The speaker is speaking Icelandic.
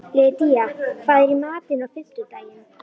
Lydía, hvað er í matinn á fimmtudaginn?